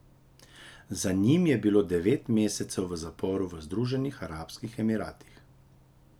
Za njim je bilo devet mesecev v zaporu v Združenih arabskih emiratih.